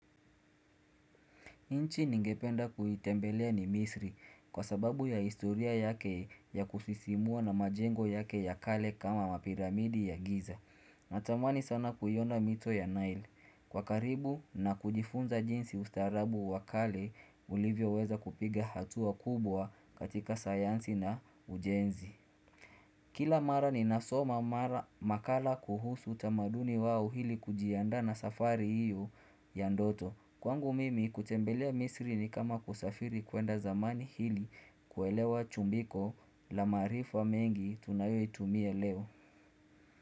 Nchi ningependa kuitembelea ni misri kwa sababu ya historia yake ya kusisimua na majengo yake ya kale kama mapiramidi ya giza. Natamani sana kuiona mito ya nile Kwa karibu na kujifunza jinsi ustaarabu wakale, ulivyo weza kupiga hatua kubwa katika sayansi na ujenzi. Kila mara ninasoma mara makala kuhusu utamaduni wao ili kujiandaa na safari iyo ya ndoto. Kwangu mimi kutembelea misri ni kama kusafiri kuenda zamani ili kuelewa chumbiko la maarifa mengi tunayoitumia leo.